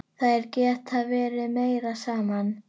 Þær geta verið meira saman.